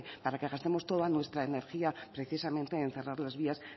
para que gastemos toda nuestra energía precisamente en cerrar las vías